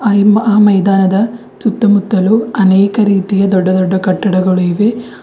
ಅಲ್ಲಿ ಮ ಹಿ ಮೈದಾನದ ಸುತ್ತಮುತ್ತಲು ಅನೇಕ ರೀತಿಯ ದೊಡ್ಡ ದೊಡ್ಡ ಕಟ್ಟಡಗಳು ಇವೆ.